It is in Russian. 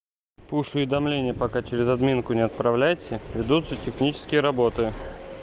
пуш уведомления пока через админку не отправляйте ведутся технические работы